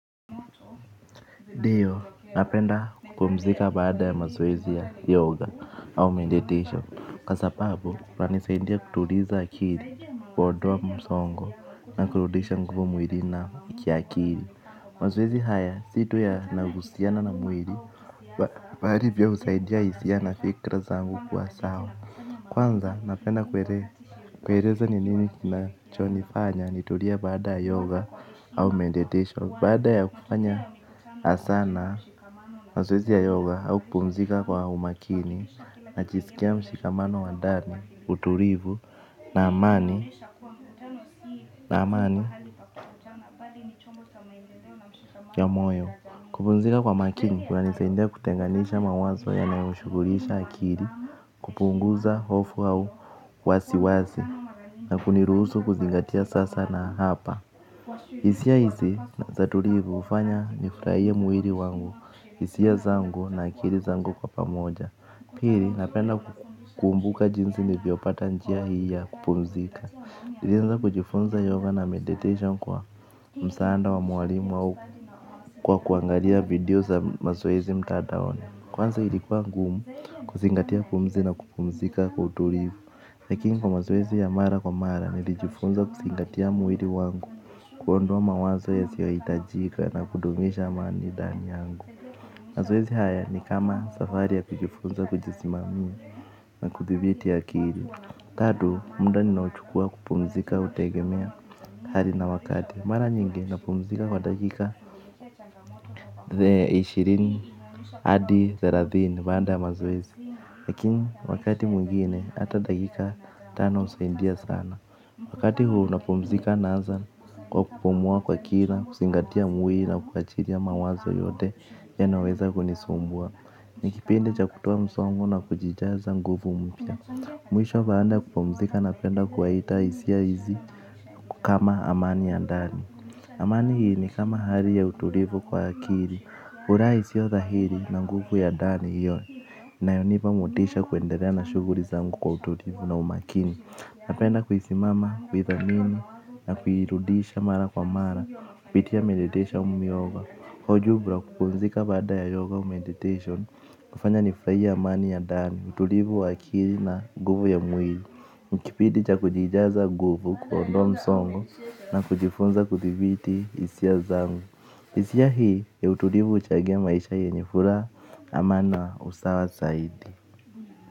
Ndiyo, napenda kupumzika baada ya mazoezi ya yoga au meditation kwa sababu unanisaidia kutuliza akili kuondoa msongo na kurudisha nguvu mwilini na ki akili. Mazoezi haya si tu ya nagusiana na mwili bali pia husaidia hisia na fikra zangu kwa sawa. Kwanza napenda kueleza ni nini kinachonifanya nitulia baada ya yoga au meditation baada ya kufanya na sana mazoezi ya yoga au kupumzika kwa umakini na jiskia mshikamano wa ndani, utulivu na amani na amani ya moyo. Kupumzika kwa makini kuna nisaidia kutenganisha mawazo yanayo shughulisha akili. Kupunguza hofu au wasiwasi na kuniruhusu kuzingatia sasa na hapa hisia hizi za tulivu hufanya nifurahie mwili wangu hisia zangu na akili zangu kwa pamoja. Pili napenda kukumbuka jinsi nilivyopata njia hii ya kupumzika lilianza kujifunza yoga na meditation kwa msaada wa mwalimu au kwa kuangalia video za mazoezi mtandaoni. Kwanza ilikuwa ngumu kuzingatia pumzi na kupumzika kwa utulivu lakini kwa mazoezi ya mara kwa mara nilijifunza kuzingatia mwili wangu kuondoa mawazo yasiyo hitajika na kudumisha amani ndani yangu. Mazoezi haya ni kama safari ya kujifunza kujisimamia na kudhibiti akili tatu muda ninaochukua kupumzika hutegemea hali na wakati, mara nyingi napumzika kwa dakika ishirini hadi thelathini baada ya mazoezi. Lakini wakati mwingine hata dakika tano husaidia sana. Wakati huu napumzika naanza kwa kupumua kwa kina kuzingatia mwili na kukaa chini ya mawazo yote yanayoweza kunisumbua. Ni kipindi cha kutoa msongo na kujijaza nguvu mpya. Mwisho baada ya kupumzika napenda kuwaita hisia hizi kama amani ya ndani. Amani hii ni kama hali ya utulivu kwa akili urai siyo dhahiri na nguvu ya ndani hiyo. Inayonipa motisha kuendelea na shughuli zangu kwa utulivu na umakini. Napenda kuisimama, kuidhamini na kuirudisha mara kwa mara, kupitia meditation au yoga, hojubra kupumzika badaa ya yoga au meditation, kufanya nifurahie amani ya ndani utulivu wa akili na nguvu ya mwili ni kipindi cha kujijaza nguvu kuondoa msongo na kujifunza kudhibiti hisia zangu. Hisia hii ya utulivu huchagia maisha yenye furaha amani na usawa zaidi.